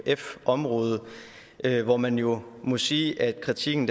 område hvor man jo må sige at kritikken